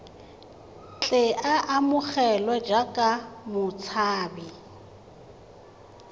tle a amogelwe jaaka motshabi